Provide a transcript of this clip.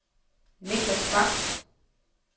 Niklas Bak